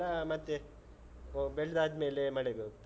ಬೆಳ್ದದ್ದೆಲ್ಲಾ ಮತ್ತೆ ಬೆಳ್ದಾದ್ಮೇಲೆ ಮಳೆಗೆ ಹೋಗ್ತದೆ.